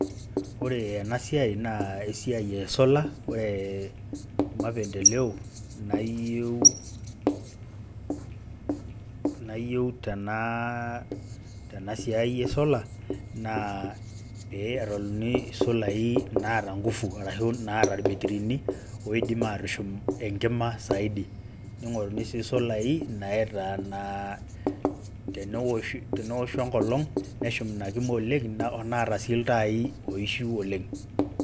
Ore enasiai, naa esiai e solar. Ore mapendeleo nayieu, nayieu tenasiai e solar, naa pee etaluni isolai naata ngufu, arashu naata irbetirini, oidim atushum enkima saidi. Ning'oruni si isolai, naitanaa tenewoshu enkolong, neshum inakima oleng', onaata si iltai oishiu oleng'.